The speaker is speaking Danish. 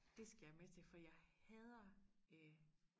det skal jeg med til for jeg hader øh